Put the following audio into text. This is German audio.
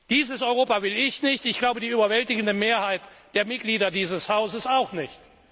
Dieses Europa will ich nicht, und ich glaube, die überwältigende Mehrheit der Mitglieder dieses Hauses auch nicht.